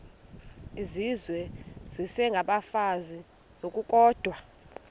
izizwe isengabafazi ngokukodwa